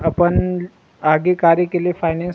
अपन आगे गाड़ी के लिए फाइनेंस --